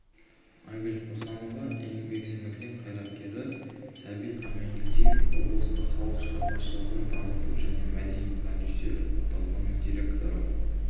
айгүл қосанова еңбек сіңірген қайраткері сәбит амангелдиев облыстық халық шығармашылығын дамыту және мәдени продюсерлік орталығының директоры